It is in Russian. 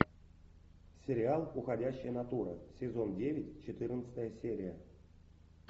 сериал уходящая натура сезон девять четырнадцатая серия